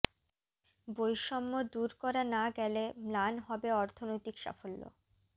বৈষম্য দূর করা না গেলে ম্লান হবে অর্থনৈতিক সাফল্য